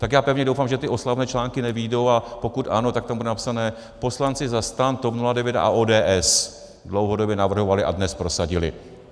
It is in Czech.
Tak já pevně doufám, že ty oslavné články nevyjdou, a pokud ano, tak tam bude napsané: Poslanci za STAN, TOP 09 a ODS dlouhodobě navrhovali a dnes prosadili.